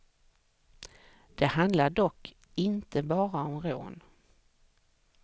Det handlar dock inte bara om rån.